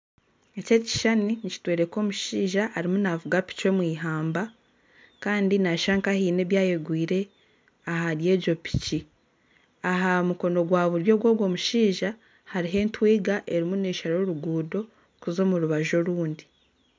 Eki ekishushani nikitworeka omushaija arimu naavuga piki omu ihamba kandi naashusha nka haine ebi eyegwire ahari egyo piki aha mukono gwa buryo gw'ogwo mushaija hariho etwiga erimu neeshara oruguuto kuza omu rubaju orundi